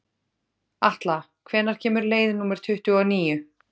Atla, hvenær kemur leið númer tuttugu og níu?